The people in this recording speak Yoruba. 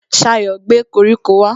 Ṣayọ̀ gbé koríko wá